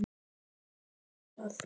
Þú ert prestur á þessum stað.